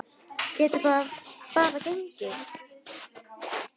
Geta bara gengið.